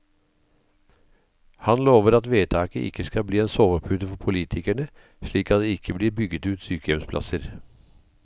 Han lover at vedtaket ikke skal bli en sovepute for politikerne, slik at det ikke blir bygget ut sykehjemsplasser.